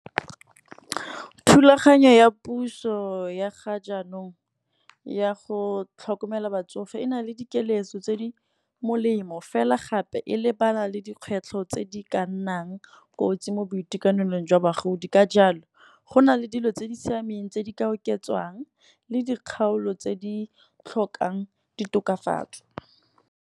Thulaganyo ya puso ya ga jaanong ya go tlhokomela batsofe, e na le dikeletso tse di molemo fela gape e lebana le dikgwetlho tse di ka nnang kotsi mo boitekanelong jwa bagodi. Ka jalo go na le dilo tse di siameng tse di ka oketswang, le dikgaolo tse di tlhokang ditokafatso.